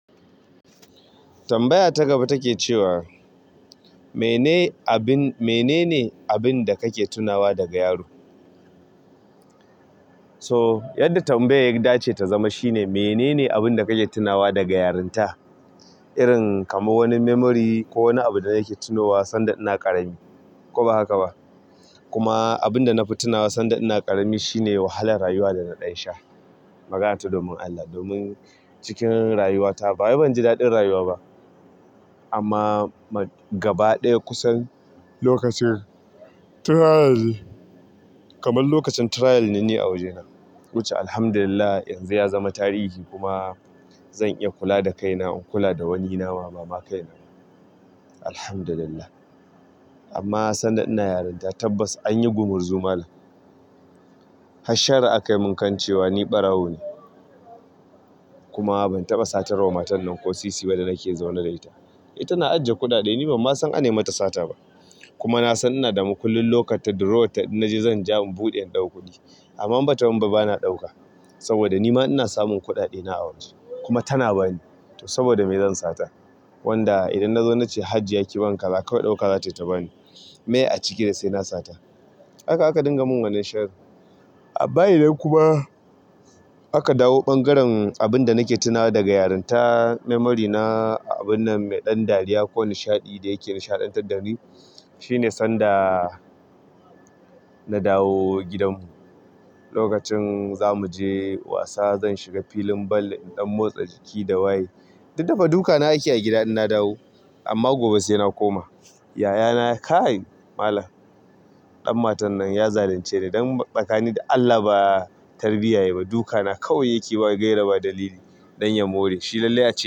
Tambaya ta gaba take cewa mene ne abin da kake tunawa daga yaro? So, yadda tambayar ya dace ya zama shi ne "Mene ne abin da kake tunawa daga yarinta?" Irin kamar wani memory ko wani abu da nake tunowa sanda ina ƙarami ko ba haka ba. Kuma abin da na fi tunawa sanda ina ƙarami shine wahalar rayuwa da na ɗan sha. Magana ta domin Allah, domin cikin rayuwata bawai ban ji daɗin rayuwa ba. Amma gaba ɗaya kusan lokacin trial, kamar lokacin trial ne ni a wajena. Wuce Alhamdulillah, yanzu ya zama tarihi kuma zan iya kula da kaina in kula da wani nawa ba ma kaina ba. Alhamdulillah. Amma sanda ina yarinta tabbas anyi gumurzumal har sharri akai mun kan cewa ni ɓarawo ne. Kuma ban taɓa satar wa matar nan ko sisi ba da nake zaune da ita. Tana ajiye kuɗaɗe ni ban ma san an yi mata sata ba. Kuma na san ina da makullin locker ta drawer ta in na je zan ja in buɗe in ɗauko kuɗi. Amma in bata ban ba bana ɗauka. Saboda nima ina samun kuɗaɗe na a waje kuma tana bani, saboda me zan sata. Wanda idan nazo nace "Hajiya ki ban kaza kawai ɗauka zatayi ta bani". Me a ciki da sai na sata. Haka aka dinga mun wannan sharrin. Bayan nan kuma aka dawo ɓangaren abun da nake tunawa daga yarinta memory na abun nan mai ɗan dariya ko nishaɗi da yake nishaɗantar da ni. Shine sanda-- na dawo gidan mu. Lokacin za mu je wasa zan shiga filin ball in ɗan motsa jiki da waye. Duk da fa duka na ake a gida in na dawo. Amma gobe sai na koma. Yayana kai, malam ɗan matan nan ya zalunce ni dan tsakani da Allah ba tarbiyya yayi ba duka na kawai yake ba gaira ba dalili don ya more. Shi lallai a ce.